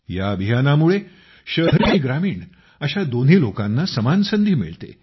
ह्या अभियानामुळे शहरी आणि ग्रामीण अशा दोन्ही लोकांना समान संधी मिळते